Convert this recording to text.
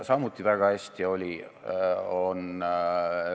See on juba selline järellainetus.